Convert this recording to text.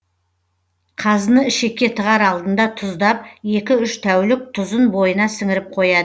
қазыны ішекке тығар алдында тұздап екі үш тәулік тұзын бойына сіңіріп қояды